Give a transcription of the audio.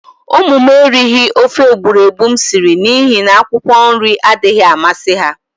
Umu m erighi ofe egburegbu m siri n'ihi n'akwụkwọ nri adaghi amasi ha.